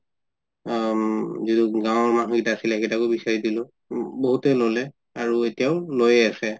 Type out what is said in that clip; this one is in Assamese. আ যিটো গাওঁৰ মানুহ কেইটা আছিলে সেই কেইটাকো বিচাৰি দিলো বহুতে ললে আৰু এতিয়ো লৈয়ে আছে